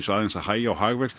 aðeins að hægja á hagvexti